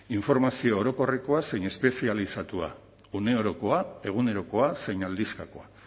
informazio orokorrekoa zein espezializatua une orokoa egunerokoa zein aldizkakoa